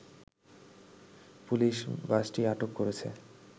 police বাসটি আটক করেছে